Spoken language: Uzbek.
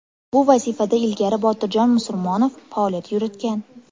Bu vazifada ilgari Botirjon Musurmonov faoliyat yuritgan.